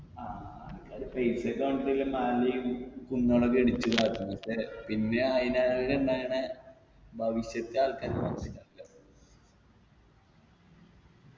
ആ ആൾക്കാര് പൈസക്ക് വേണ്ടീറ്റ് ഉള്ള മലയും കുന്നുകളൊക്കെ ഇടിച്ച് ഇതാക്കുന്നു ക്ഷെ പിന്നെ അയിനെ ഈടിണ്ടായയിനെ ഭവിഷ്യത്ത് ആൾക്കാര് മൊത്തം ഇല്ലാണ്ടാവും